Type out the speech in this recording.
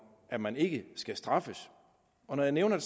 at man ikke skal straffes og når jeg nævner